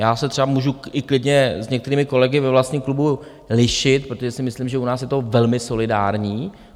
Já se třeba můžu i klidně s některými kolegy ve vlastním klubu lišit, protože si myslím, že u nás je to velmi solidární.